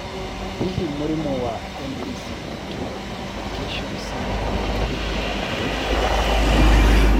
Hihi mũrimũ wa MECP2 duplication syndrome ũngĩrigitwo atĩa?